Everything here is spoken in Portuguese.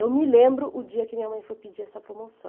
Eu me lembro o dia que minha mãe foi pedir essa promoção.